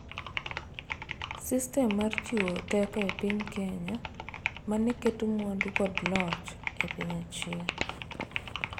Sistem mar chiwo teko e piny Kenya, mane keto mwandu kod loch e piny achiel